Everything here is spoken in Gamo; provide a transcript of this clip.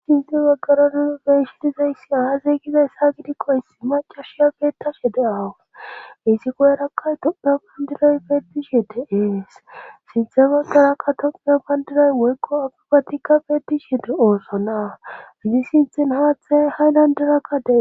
hi izi waggaronin beeshi dizayssi aazeygida hessa gidikko issi macashiya beettashe de7awu iisi goyerakkay tommeo pandiray beetishe de7ees sinthe baggarakka tommeyo payndiray woykqo agibatikka beetishi di ooso na gidi sinthin haathe hay landerakkadee